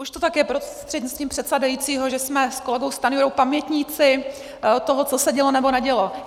Už to tak je, prostřednictvím předsedajícího, že jsme s kolegou Stanjurou pamětníci toho, co se dělo nebo nedělo.